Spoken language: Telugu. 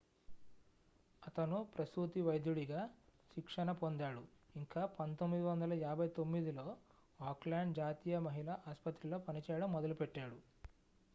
అతను ప్రసూతి వైద్యుడిగా శిక్షణ పొందాడు ఇంకా 1959లో ఆక్లాండ్ జాతీయ మహిళ ఆస్పత్రిలో పనిచేయడం మొదలుపెట్టాడు